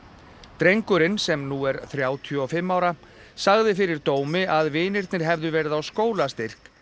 drengurinn sem nú er þrjátíu og fimm ára sagði fyrir dómi að vinirnir hefðu verið á skólastyrk